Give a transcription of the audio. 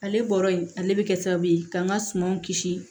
Ale bɔra yen ale bɛ kɛ sababu ye ka n ka sumanw kisi